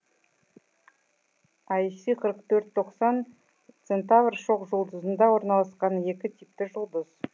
ай си қырық төрт тоқсан центавр шоқжұлдызында орналасқан екі типті жұлдыз